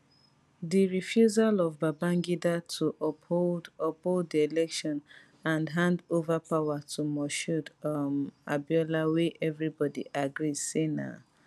di refusal of babangida to uphold uphold di election and hand over power to moshood um abiola wey evribodi agree say na